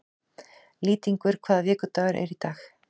Lýtingur, hvaða vikudagur er í dag?